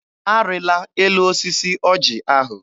Arịla elu osisi ọjị ahụ!